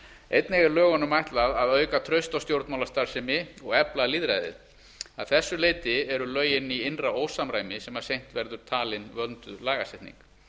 einnig er lögunum ætlað að auka traust á stjórnmálastarfsemi og efla lýðræðið að þessu leyti eru lögin í innra ósamræmi sem seint verða talin vönduð lagasetning